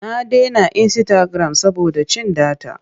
Na dena insitagiram saboda cin data.